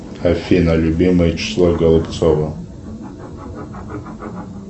афина любимое число голубцова